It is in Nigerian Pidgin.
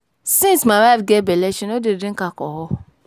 Since my wife get bele she no dey drink alcohol